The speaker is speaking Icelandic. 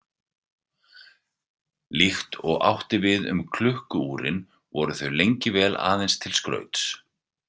Líkt og átti við um klukku-úrin voru þau lengi vel aðeins til skrauts.